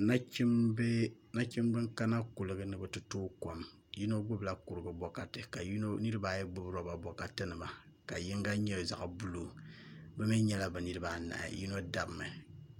Nachimbi n kana kuligi ni ni bi ti tooi kom yino gbubila kurigu bokati ka niraba ayi gbubi roba bokati nima ka yinga nyɛ zaɣ buluu bi mii nyɛla bi niraba anahi yino dabmi